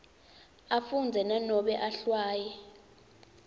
afundza nanobe ehlwaya